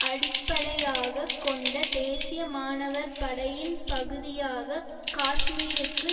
அடிப்படையாக கொண்ட தேசிய மாணவர் படையின் பகுதியாக காஷ்மீருக்கு